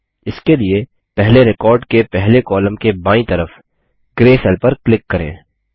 इसके लिए पहले रिकॉर्ड के पहले कॉलम के बायीं तरफ ग्रे सेल पर क्लिक करें